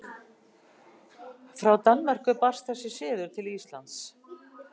Frá Danmörku barst þessi siður til Íslands.